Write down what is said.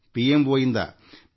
ಇದು ನನಗೂ ಒಂದು ಸುದ್ದಿಯಾಗಿದೆ